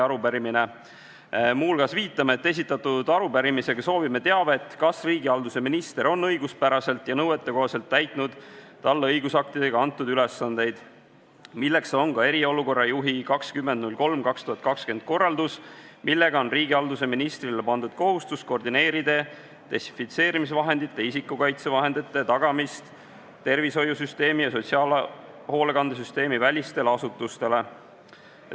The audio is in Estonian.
Muu hulgas viitame, et esitatud arupärimisega soovime teavet, kas riigihalduse minister on õiguspäraselt ja nõuetekohaselt täitnud talle õigusaktidega antud ülesandeid, milleks on ka eriolukorra juhi 20.03.2020 korraldus, millega on riigihalduse ministrile pandud kohustus koordineerida desinfitseerimisvahendite, isikukaitsevahendite tagamist tervishoiusüsteemi- ja sotsiaalhoolekandesüsteemivälistele asutustele.